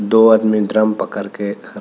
दो आदमी ड्रम पकड़ के--